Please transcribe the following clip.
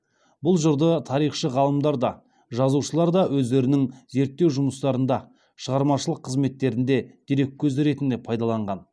бұл жырды тарихшы ғалымдар да жазушылар да өздерінің зерттеу жұмыстарында шығармашылық қызметтерінде дерек көзі ретінде пайдаланған